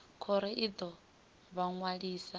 khoro i ḓo vha ṅwalisa